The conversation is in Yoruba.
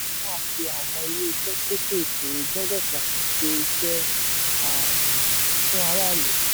àwọn ilé iṣẹ́ kéékèèké gbọ́dọ̀ ṣàtúnṣe iṣẹ́ um fún aráàlú.